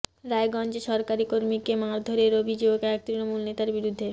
রাজগঞ্জে সরকারি কর্মীকে মারধরের অভিযোগ এক তৃণমূল নেতার বিরুদ্ধে